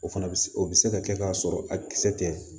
O fana bɛ se o bɛ se ka kɛ k'a sɔrɔ a kisɛ tɛ